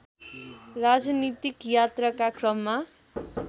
राजनीतिक यात्राका क्रममा